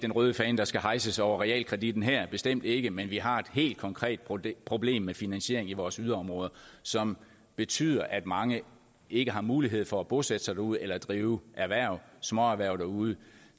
den røde fane der skal hejses over realkreditten her bestemt ikke men vi har et helt konkret problem problem med finansieringen i vores yderområder som betyder at mange ikke har mulighed for at bosætte sig derude eller drive småerhverv derude